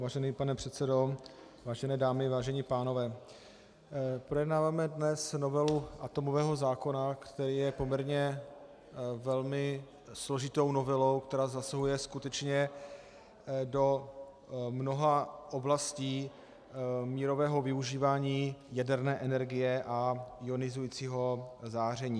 Vážený pane předsedo, vážené dámy, vážení pánové, projednáváme dnes novelu atomového zákona, který je poměrně velmi složitou novelou, která zasahuje skutečně do mnoha oblastí mírového využívání jaderné energie a ionizujícího záření.